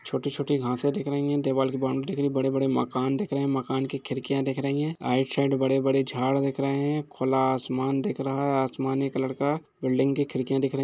छोटी-छोटी घासें दिख रही हैं दीवाल की बॉउन्ड्री दिख रहीं है बड़े-बड़े मकान दिख रहे हैं मकान की खिरकियाँ दिख रही हैं आइट साइड बड़े-बड़े झाड़ दिख रहे हैं खुला आसमान दिख रहा है आसमानी कलड़ का बिल्डिंग की खिरकियाँ दिख रही--